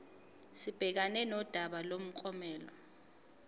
sibhekane nodaba lomklomelo